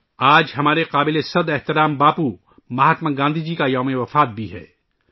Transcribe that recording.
آج ہمارے قابل احترام باپو مہاتما گاندھی کی برسی بھی ہے